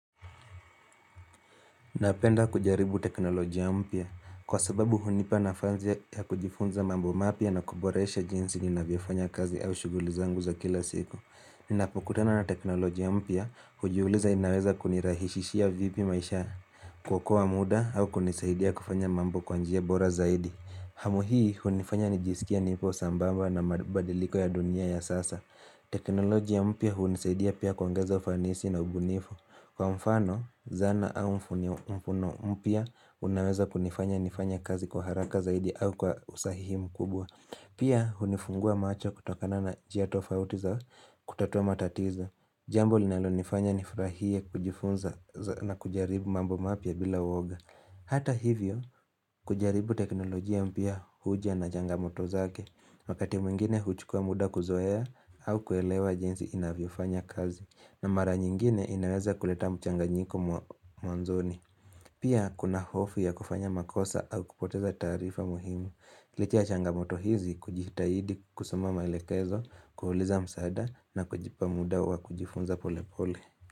Napenda kujaribu teknolojia mpya, kwa sababu hunipa nafasi ya kujifunza mambo mapya na kuboresha jinsi ni navyofanya kazi au shughuli zangu za kila siku. Ninapokutana na teknolojia mpya, hujiuliza inaweza kunirahisishia vipi maisha kuokoa muda au kunisaidia kufanya mambo kwanjia bora zaidi. Hamu hii hunifanya nijisikie nipo sambamba na mabadiliko ya dunia ya sasa. Teknolojia mpya hunisaidia pia kuongeza ufanisi na ubunifu. Kwa mfano, zana au mfuno mfuno mpya, unaweza kunifanya nifanye kazi kwa haraka zaidi au kwa usahihi mkubwa. Pia, hunifungua macho kutokana na njia tofauti za kutatua matatizo. Jambo linalo nifanya nifurahie kujifunza na kujaribu mambo mapya bila uoga. Hata hivyo, kujaribu teknolojia mpya huja na jangamoto zake. Wakati mwingine huchukua muda kuzoea au kuelewa jinsi inavyofanya kazi. Na mara nyingine inaweza kuleta mchanganyiko mwanzoni. Pia kuna hofu ya kufanya makosa au kupoteza taarifa muhimu. Licha ya changamoto hizi, kujitaidi, kusoma maelekezo, kuuliza msaada na kujipa muda wa kujifunza pole pole.